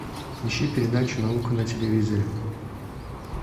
ищи передачу наука на телевизоре